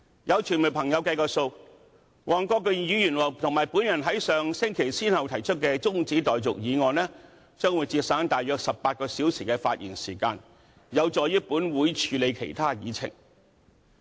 有傳媒朋友計算，黃國健議員和我在上星期先後動議的中止待續議案，可節省大約18小時的發言時間，有助本會處理其他議程項目。